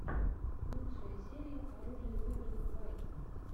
лучшая серия оружие в играх уайт